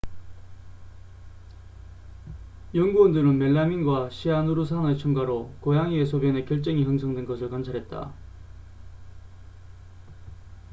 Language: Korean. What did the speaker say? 연구원들은 멜라민과 시아누르산의 첨가로 고양이의 소변에 결정이 형성된 것을 관찰했다